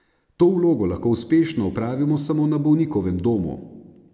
To vlogo lahko uspešno opravimo samo na bolnikovem domu.